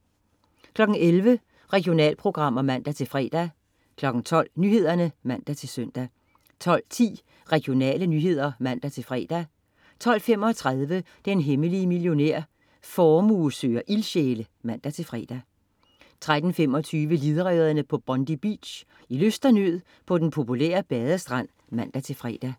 11.00 Regionalprogrammer (man-fre) 12.00 Nyhederne (man-søn) 12.10 Regionale nyheder (man-fre) 12.35 Den hemmelige millionær. Formue søger ildsjæle (man-fre) 13.25 Livredderne på Bondi Beach. I lyst og nød på den populære badestrand (man-fre)